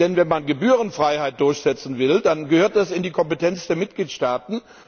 Denn wenn man Gebührenfreiheit durchsetzen will, dann gehört das in die Kompetenz der Mitgliedstaaten.